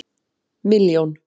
milljón